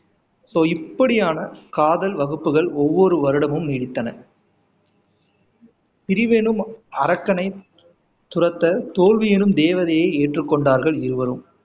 so இப்படியான காதல் வகுப்புகள் ஒவ்வொரு வருடமும் நீடித்தன பிரிவெனும் அரக்கனை துரத்த தோல்வி என்னும் தேவதையை ஏற்றுக்கொண்டார்கள் இருவரும்